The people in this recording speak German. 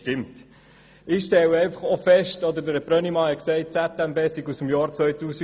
Herr Brönnimann hat gesagt, die ZMB stamme aus dem Jahr 2008.